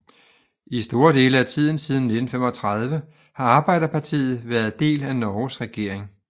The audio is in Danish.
I store dele af tiden siden 1935 har Arbeiderpartiet været del af Norges regering